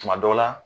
Tuma dɔ la